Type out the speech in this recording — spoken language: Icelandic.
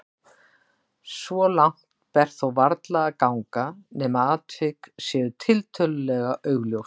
Svo langt ber þó varla að ganga nema atvik séu tiltölulega augljós.